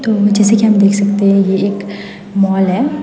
तो जैसे कि आप देख सकते हैं ये एक मॉल है।